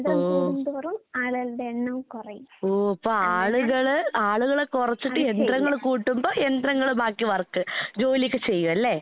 ഓ. ഓ അപ്പാളുകള് ആളുകളെ കൊറച്ചിട്ട് യന്ത്രങ്ങള് കൂട്ടുമ്പോ യന്ത്രങ്ങള് ബാക്കി വർക്ക് ജോലിയൊക്കെ ചെയ്യുവല്ലേ?